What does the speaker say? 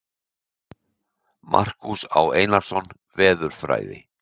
Markús Á. Einarsson, Veðurfræði.